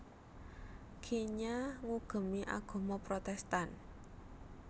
Kenya ngugemi agama Protestan